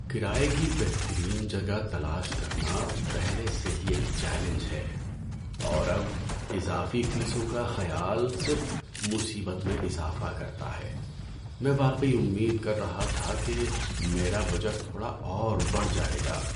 کرایے کی بہترین جگہ تلاش کرنا پہلے سے ہی ایک چیلنج ہے، اور اب اضافی فیسوں کا خیال صرف مصیبت میں اضافہ کرتا ہے۔ میں واقعی امید کر رہا تھا کہ میرا بجٹ تھوڑا اور بڑھ جائے گا۔